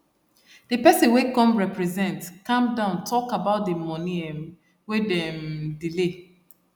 the person wey come represent calm down talk about the money um wey them um delay